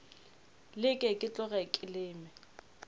leke ke tloge ke leme